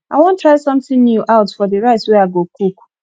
i wan try something new out for the rice wey i go cook